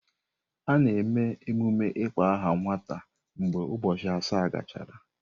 A na-eme emume ịkpọ aha nwata mgbe ụbọchị asaa gachara.